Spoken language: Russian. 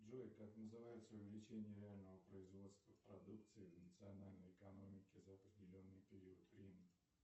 джой как называется увеличение реального производства продукции в национальной экономике за определенный период времени